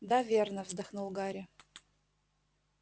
да верно вздохнул гарри